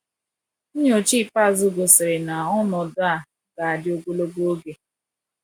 Nyocha ikpeazụ gosiri na ọnọdụ a ga-adị ogologo oge.